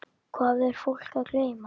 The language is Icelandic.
Hvað er fólk að geyma?